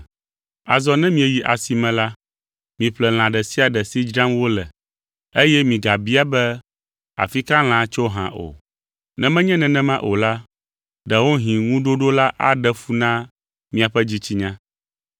Azɔ ne mieyi asi me la, miƒle lã ɖe sia ɖe si dzram wole, eye migabia be afi ka lãa tso hã o. Ne menye nenema o la, ɖewohĩ ŋuɖoɖo la aɖe fu na miaƒe dzitsinya.